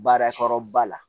Baara kɔrɔba la